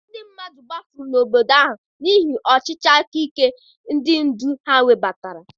Ndị mmadụ gbafuru n'obodo ahụ n'ihi ọchịchị aka ike ndị ndu ha webatara.